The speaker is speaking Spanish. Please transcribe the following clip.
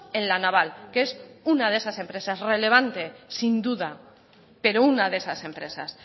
en la naval que es una de esas empresas relevante sin duda pero una de esas empresas